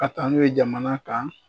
Ka taa n'u ye jamana kan